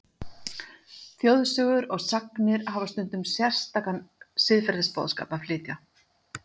Þjóðsögur og sagnir hafa stundum sérstakan siðferðisboðskap að flytja.